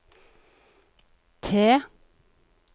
T